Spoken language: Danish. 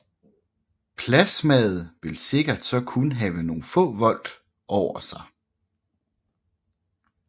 Plasmaet vil sikkert så kun have nogle få volt over sig